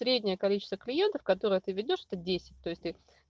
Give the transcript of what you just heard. среднее количество клиентов которое ты ведёшь это десять то есть ты